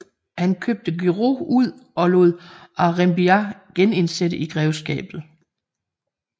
Han købte Guerau ud og lod Aurembiax genindsætte i grevskabet